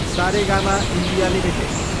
Saregama India Ltd